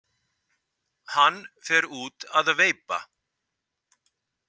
Hann fer út að veipa.